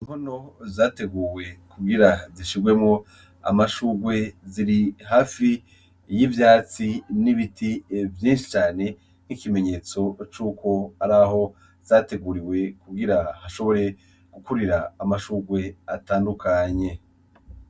Inkono zateguwe kugira zishigwemwo amashugwe, ziri hafi y'ivyatsi n'ibiti vyinshi cane n'ikimenyetso cuko araho zateguriwe kugira hashobore gukurira amashugwe atandukanye.